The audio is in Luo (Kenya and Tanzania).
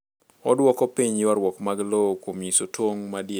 Odwoko piny ywarruok mag lowo kuom nyiso tong’ madier.